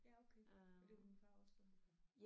Ja okay og det er din far også så eller?